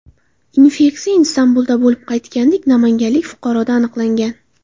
Infeksiya Istanbulda bo‘lib qaytgan namanganlik fuqaroda aniqlangan.